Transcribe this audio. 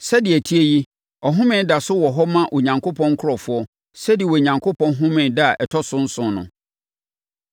Sɛdeɛ ɛte yi, ɔhome da so wɔ hɔ ma Onyankopɔn nkurɔfoɔ sɛdeɛ Onyankopɔn homee da a ɛtɔ so nson no.